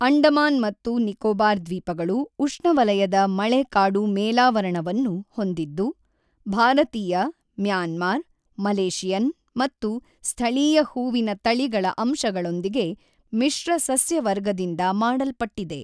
ಅಂಡಮಾನ್ ಮತ್ತು ನಿಕೋಬಾರ್ ದ್ವೀಪಗಳು ಉಷ್ಣವಲಯದ ಮಳೆಕಾಡು ಮೇಲಾವರಣವನ್ನು ಹೊಂದಿದ್ದು, ಭಾರತೀಯ, ಮ್ಯಾನ್ಮಾರ್, ಮಲೇಷಿಯನ್ ಮತ್ತು ಸ್ಥಳೀಯ ಹೂವಿನ ತಳಿಗಳ ಅಂಶಗಳೊಂದಿಗೆ ಮಿಶ್ರ ಸಸ್ಯವರ್ಗದಿಂದ ಮಾಡಲ್ಪಟ್ಟಿದೆ.